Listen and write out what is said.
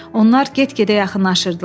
Onlar get-gedə yaxınlaşırdılar.